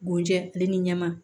Bojɛ ne ni ɲɛma